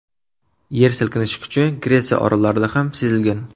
Yer silkinishi kuchi Gretsiya orollarida ham sezilgan.